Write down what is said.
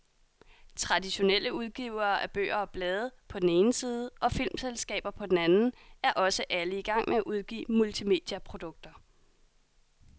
Traditionelle udgivere af bøger og blade, på den ene side, og filmselskaber på den anden, er også alle i gang med at udgive multimediaprodukter.